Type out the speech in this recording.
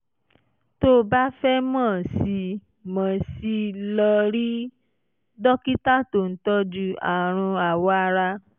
tó o bá fẹ́ mọ̀ sí i mọ̀ sí i lọ rí dókítà tó ń tọ́jú àrùn awọ ara